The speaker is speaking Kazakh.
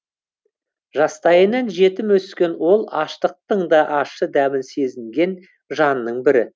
жастайынан жетім өскен ол аштықтың да ащы дәмін сезінген жанның бірі